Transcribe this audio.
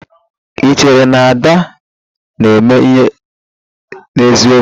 Ị chere na Ada na-eme ihe n'eziokwu?